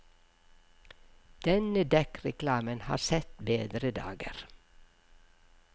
Denne dekkreklamen har sett bedre dager.